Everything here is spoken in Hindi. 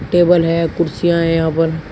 टेबल है कुर्सियां हैं यहां पर।